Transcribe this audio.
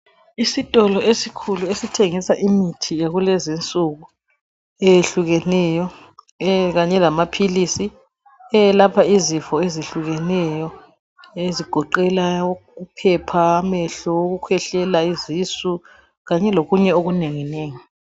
Isitolo esikhulu esithengisa imithi yakulezinsuku ezitshiyeneyo kanye lamaphilizi ayelapha imikhuhlane etshiyeneyo egoqela uphepha, amehlo, ukukwehlela, izisisu kanye lokunye okunengi nengi.